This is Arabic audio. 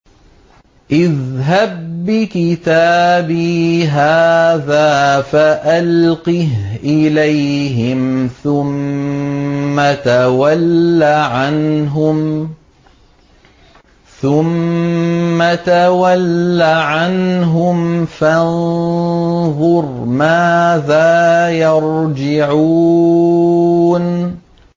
اذْهَب بِّكِتَابِي هَٰذَا فَأَلْقِهْ إِلَيْهِمْ ثُمَّ تَوَلَّ عَنْهُمْ فَانظُرْ مَاذَا يَرْجِعُونَ